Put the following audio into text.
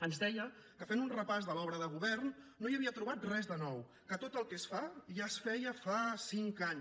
ens deia que fent un repàs de l’obra de govern no hi havia trobat res de nou que tot el que es fa ja es feia fa cinc anys